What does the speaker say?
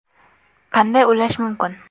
Qanday ulash mumkin ?